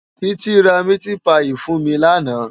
Titi rá miti páyi fún mi làná